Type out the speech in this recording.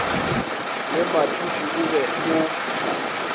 le mathuši o be o